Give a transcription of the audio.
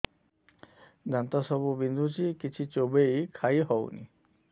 ଦାନ୍ତ ସବୁ ବିନ୍ଧୁଛି କିଛି ଚୋବେଇ ଖାଇ ହଉନି